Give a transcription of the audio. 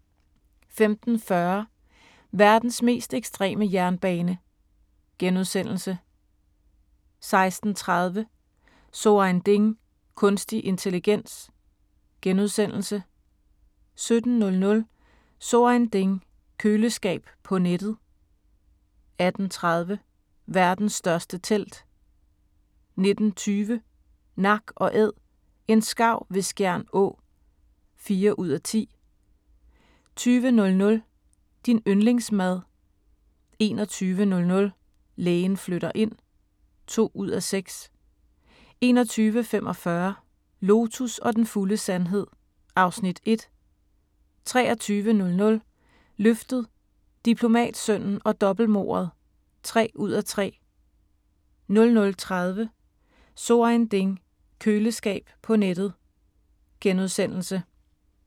15:40: Verdens mest ekstreme jernbane * 16:30: So ein Ding: Kunstig intelligens * 17:00: So Ein Ding: Køleskab på nettet 18:30: Verdens største telt 19:20: Nak & Æd – en skarv ved Skjern Å (4:10) 20:00: Din yndlingsmad 21:00: Lægen flytter ind (2:6) 21:45: Lotus og den fulde sandhed (Afs. 1) 23:00: Løftet - Diplomatsønnen og dobbeltmordet (3:3) 00:30: So Ein Ding: Køleskab på nettet *